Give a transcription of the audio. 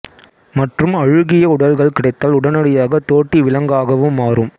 மற்றும் அழுகிய உடல்கள் கிடைத்தால் உடனடியாக தோட்டி விலங்காகவும் மாறும்